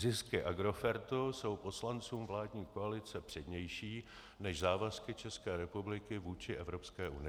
Zisky Agrofertu jsou poslancům vládní koalice přednější než závazky České republiky vůči Evropské unii.